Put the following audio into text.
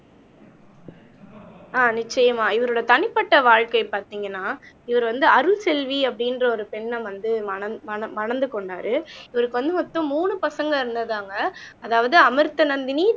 ஆஹ் நிச்சயமா இவரோட தனிப்பட்ட வாழ்க்கை பாத்தீங்கன்னா இவர் வந்து அருள்செல்வி அப்படின்ற ஒரு பெண்ணை வந்து மனன் மனம் மணந்து கொண்டாரு இவருக்கு வந்து மொத்தம் மூணு பசங்க இருந்ததாங்க அதாவது அமிர்தநந்தினி